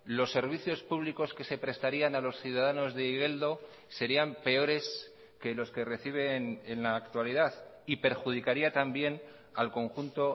los servicios públicos que se prestarían a los ciudadanos de igeldo serían peores que los que reciben en la actualidad y perjudicaría también al conjunto